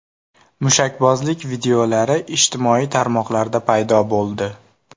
Mushakbozlik videolari ijtimoiy tarmoqlarda paydo bo‘ldi.